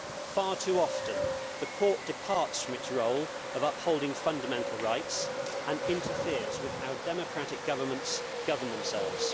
Far too often the Court departs from its role of upholding fundamental rights and interferes with how democratic governments govern themselves.